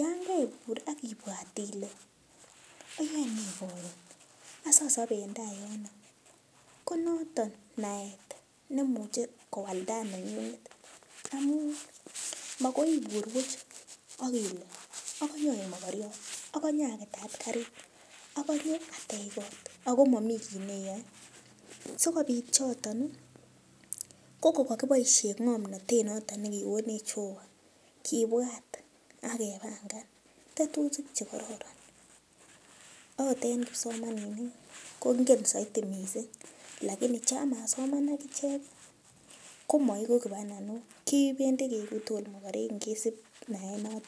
yon keibur akipwat ile iyoene karon asiasop en tai yun ko noton naet neimuchei kowal tai neng'ung'et amun makoi ibur puch akile akonye aek mokoriot akonye aketat karit akonye ateech kot akomomii kiit neiyoe ko sikobit choton ko kokaboishen ng'omnotet noton nekikonech Jehovah kipwat akepangan tetutik chekororon akot eng kipsomaninik kongen saidi mising lakini cha masoman akichek komaeku kipananok kipeen eku akot tugul mokorik ngisip naet noton